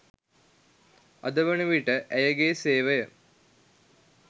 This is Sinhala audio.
අද වන විට ඇයගේ සේවය